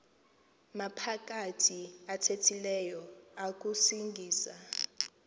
maphakathi athethileyo akusingisa